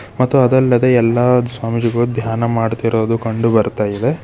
ಮತ್ತು ಅದಲ್ಲದೆ ಎಲ್ಲಾ ಸ್ವಾಮೀಜಿಗಳು ಧ್ಯಾನ ಮಾಡುತ್ತಿರೋದು ಕಂಡು ಬರುತ ಇದೆ.